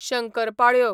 शंकरपाळ्यो